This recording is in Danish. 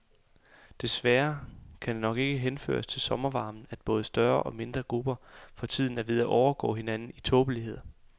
Desværre kan det nok ikke henføres til sommervarmen, at både større og mindre grupper for tiden er ved at overgå hinanden i tåbeligheder.